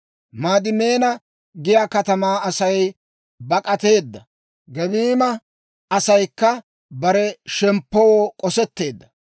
Maadimeena giyaa katamaa Asay bak'ateedda; Gebiima asaykka bare shemppoo k'osetteedda.